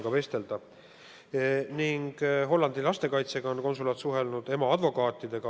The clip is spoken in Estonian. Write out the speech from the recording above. Konsulaat on suhelnud Hollandi lastekaitsega, ka ema advokaatidega.